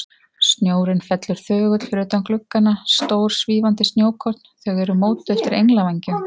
Snjórinn fellur þögull fyrir utan gluggana, stór, svífandi snjókorn, þau eru mótuð eftir englavængjum.